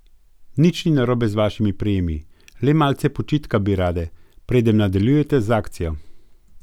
V dobrih tisoč dvesto letih monarhije na Otoku, so na prestolu seveda sedele tudi ženske.